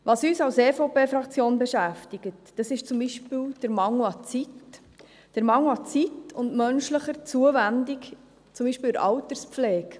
Was uns als EVP-Fraktion beschäftigt, ist zum Beispiel der Mangel an Zeit – der Mangel an Zeit und an menschlicher Zuwendung, zum Beispiel in der Alterspflege.